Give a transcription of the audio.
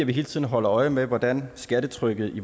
vi hele tiden holder øje med hvordan skattetrykket i